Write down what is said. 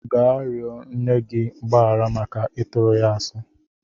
Gaa rịọ nne gị mgbaghara maka ịtụrụ ya asị!